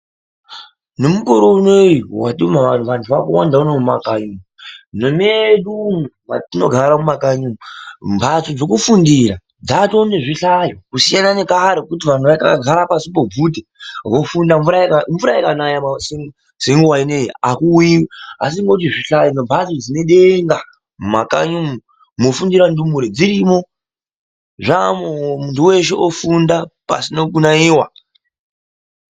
Nemukore unowu wetinawo vantu vakawanda vana vemumakanyi mwedu, mwetinogara mumakanyi umwu, mphatso dzekufundira dzatowa nezvihlayo. Kusiyana nekudhaya kwaizwi vanthu vaigara pashi pobvute vofunda, mvura ikanaya senguwa ineyi akuuyiwi. Asi ngekuti zvihlayo nemphatso dzekufundira dzine denga mwofundira ndumure mumakanyi mwedu umwu dzaamwoo, munthu weshe ofunda pasina kunaiwa.